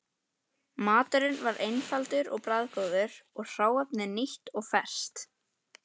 Maturinn var einfaldur og bragðgóður og hráefnið nýtt og ferskt.